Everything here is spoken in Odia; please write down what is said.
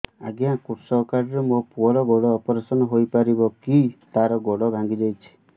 ଅଜ୍ଞା କୃଷକ କାର୍ଡ ରେ ମୋର ପୁଅର ଗୋଡ ଅପେରସନ ହୋଇପାରିବ କି ତାର ଗୋଡ ଭାଙ୍ଗି ଯାଇଛ